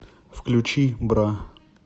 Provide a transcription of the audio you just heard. включи бра